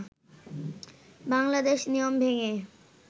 বাংলাদেশ নিয়ম ভেঙে